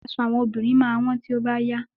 Aṣọ àwọn obìnrin máa wọ́n tí ó bá yá.